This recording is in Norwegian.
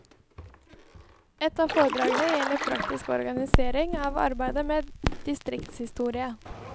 Ett av foredragene gjelder praktisk organisering av arbeidet med distriktshistorie.